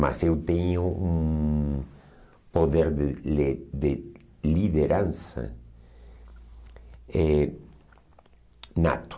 Mas eu tenho um poder de li de liderança eh nato.